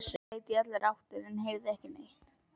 Ég leit í allar áttir en heyrði ekki neitt.